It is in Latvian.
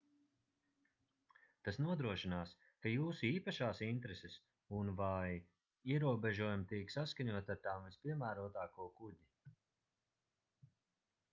tas nodrošinās ka jūsu īpašās intereses un/vai ierobežojumi tiek saskaņoti ar tām vispiemērotāko kuģi